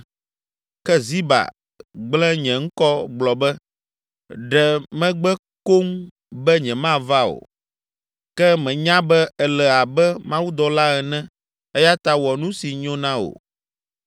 Ke Ziba gblẽ nye ŋkɔ gblɔ be, ɖe megbe koŋ be nyemava o. Ke menya be èle abe mawudɔla ene eya ta wɔ nu si nyo na wò.